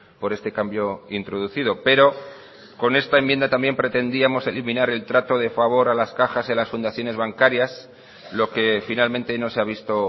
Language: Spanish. por este cambio introducido pero con esta enmienda también pretendíamos eliminar el trato de favor a las cajas y a las fundaciones bancarias lo que finalmente no se ha visto